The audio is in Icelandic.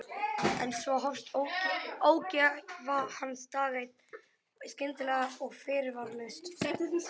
En svo hófst ógæfa hans dag einn, skyndilega og fyrirvaralaust.